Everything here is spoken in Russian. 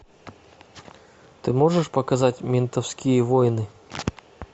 ты можешь показать ментовские войны